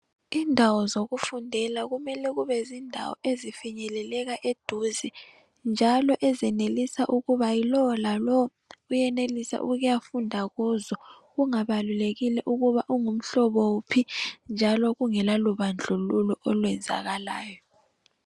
Indawo zokufundela kumele kube zindawo ezifinyekelela eduze njalo ezenelisa ukuba lo lalowo uyenelisa ukuyafunda kuzo kungabalulekile ukuba ungumhlobo wuphi njalo kungela lubandluluko olwenzakalayo.